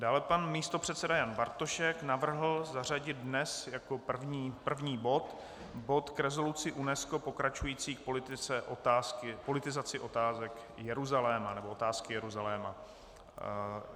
Dále pan místopředseda Jan Bartošek navrhl zařadit dnes jako první bod bod k rezoluci UNESCO pokračující v politizaci otázek Jeruzaléma, nebo otázky Jeruzaléma.